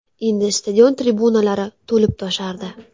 Endi stadion tribunalari to‘lib-toshardi.